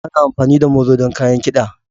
Ana amfani da molo don kayan kiɗa.